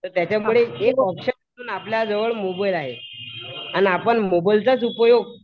तर त्याच्यापुढे एक ऑप्शन आपल्या जवळ मोबाईल आहे. अन आपण मोबाइलचाच उपयोग